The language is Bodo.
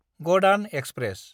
गदान एक्सप्रेस